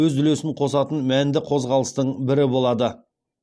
өз үлесін қосатын мәнді қозғалыстың бірі болады